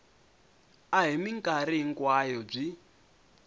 a hi mikarhi hinkwayo byi